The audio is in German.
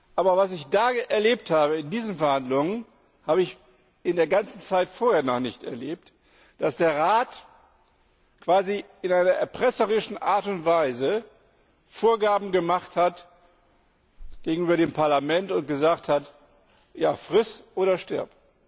Aber was ich in diesen Verhandlungen erlebt habe, habe ich in der ganzen Zeit vorher noch nicht erlebt, dass der Rat quasi in einer erpresserischen Art und Weise Vorgaben gemacht hat gegenüber dem Parlament und gesagt hat Friss oder stirb.